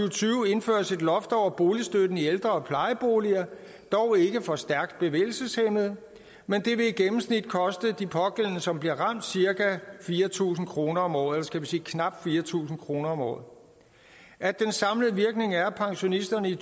og tyve indføres et loft over boligstøtten i ældre og plejeboliger dog ikke for stærkt bevægelseshæmmede men det vil i gennemsnit koste de pågældende som bliver ramt cirka fire tusind kroner om året eller skal vi sige knap fire tusind kroner om året at den samlede virkning er at pensionisterne i